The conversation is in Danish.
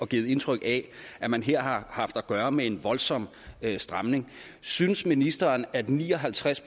givet indtryk af at man her har haft at gøre med en voldsom stramning synes ministeren at ni og halvtreds